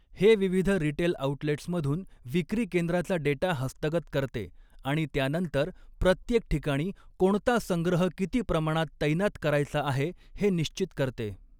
हे विविध रिटेल आऊटलेट्समधून विक्री केंद्राचा डेटा हस्तगत करते आणि त्यानंतर प्रत्येक ठिकाणी कोणता संग्रह किती प्रमाणात तैनात करायचा आहे हे निश्चित करते.